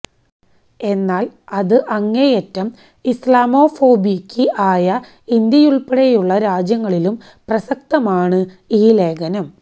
എന്നാല് അത് അങ്ങേയറ്റം ഇസ്ലാമോഫോബിക്ക് ആയ ഇന്ത്യയുള്പ്പെടെയുള്ള രാജ്യങ്ങളിലും പ്രസക്തമാണ് ഈ ലേഖനം